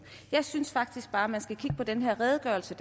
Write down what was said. jeg synes faktisk bare man skal kigge på den her redegørelse